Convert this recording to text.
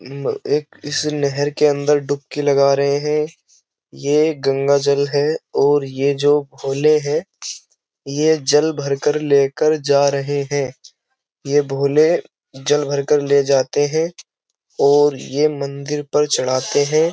उम्म एक इस नहर के अंदर डुबकी लगा रहे है। ये गंगा जल है और ये जो भोले है ये जल भर कर लेकर जा रहे हैं। ये भोले जल भरकर ले जाते हैं और ये मंदिर पर चढ़ाते है।